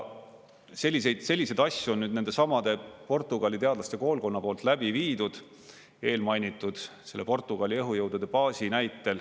Selliseid asju on nendesamade Portugali teadlaste koolkonna poolt läbi viidud eelmainitud selle Portugali õhujõudude baasi näitel.